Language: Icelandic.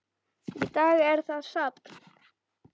Í dag er það safn.